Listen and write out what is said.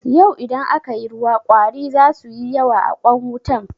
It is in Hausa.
Yau idan aka yi ruwa ƙwari za suyi yawa a kwan wutan.